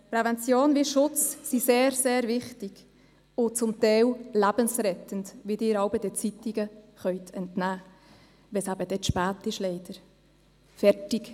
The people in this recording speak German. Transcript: Prävention wie Schutz sind sehr, sehr wichtig und zum Teil lebensrettend, wie Sie es das eine oder andere Mal den Zeitungen entnehmen konnten, nachdem es dann leider schon zu spät ist.